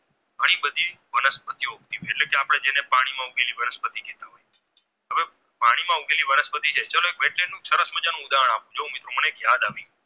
પાણીમાં વનસ્પતિ કે હવે પાણીમાં ઉગતી વનસ્પતિ ચાલો એક વૈજ્ઞાન નું એક સરસ મજાનું ઉદાહરણ આપું જો મિત્રો મને યાદ આપું